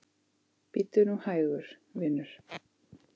Bíddu nú hægur, vinur.